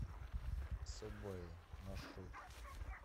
сабвэй маршрут